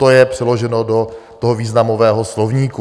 To je přeloženo do toho významového slovníku.